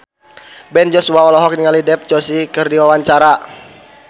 Ben Joshua olohok ningali Dev Joshi keur diwawancara